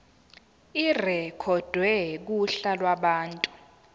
irekhodwe kuhla lwabantu